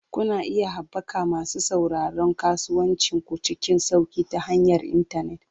Kuna iya haɓaka masu sauraron kasuwancin ku cikin sauƙi ta hanyar intanet.